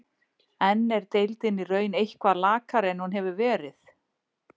En er deildin í raun eitthvað lakari en hún hefur verið?